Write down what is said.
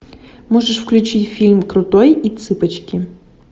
можешь включить фильм крутой и цыпочки